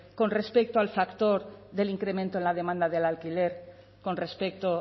con respecto al factor del incremento en la demanda del alquiler con respecto